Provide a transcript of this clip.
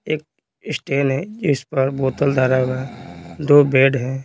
एक है इस पर बोतल धारा हुआ है दो बेड हैं।